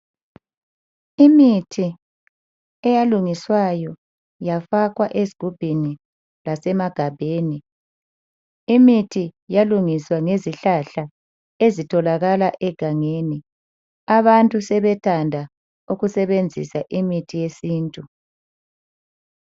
Imithi eyalungiswayo yafakwa ezigubhini lasemagabheni. Imithi yalungiswa ngezihlahla ezitholakala egangeni. Abantu sebethanda ukusebenzisa imithi yesintu